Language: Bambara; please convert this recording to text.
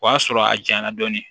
O y'a sɔrɔ a janyana dɔɔnin